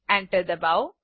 enter ડબાઓ